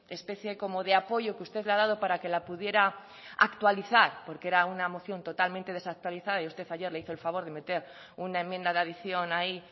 especie como de apoyo que usted le ha dado para que la pudiera actualizar porque era una moción totalmente desactualizada y usted ayer le hizo el favor de meter una enmienda de adición ahí